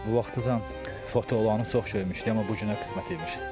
Vaxtıcan fotolarını çox şeymişdim, amma bu günə qismət imiş.